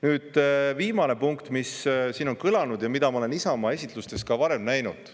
Nüüd viimane punkt, mis siin on kõlanud ja mida ma olen Isamaa esitlustes ka varem näinud.